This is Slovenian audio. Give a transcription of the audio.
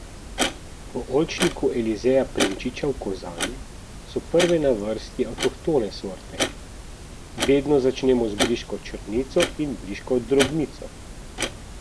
V oljčniku Elizeja Prinčiča v Kozani so prve na vrsti avtohtone sorte: "Vedno začnemo z briško črnico in briško drobnico.